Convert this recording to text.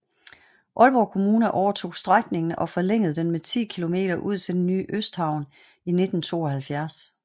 Aalborg Kommune overtog strækningen og forlængede den med 10 km ud til den nye Østhavn i 1972